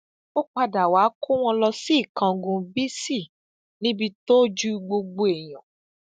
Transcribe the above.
ó padà wàá kó wọn lọ sí ìkángun bíisì níbi tójú gbogbo èèyàn